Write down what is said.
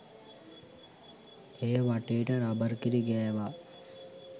එය වටේට රබර් කිරි ගෑවා.